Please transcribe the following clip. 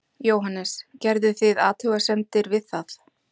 Jóhannes: Gerðuð þið athugasemdir við það?